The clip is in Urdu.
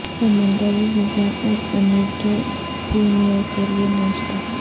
سمندری غذا اور پنیر کے پریمیوں کے لئے ناشتا